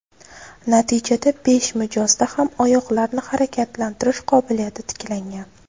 Natijada besh mijozda ham oyoqlarni harakatlantirish qobiliyati tiklangan.